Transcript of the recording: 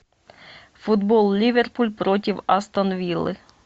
футбол ливерпуль против астон виллы